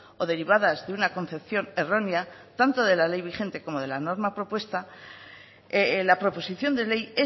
o derivadas de una concepción errónea tanto de la ley vigente como de la norma propuesta la proposición de ley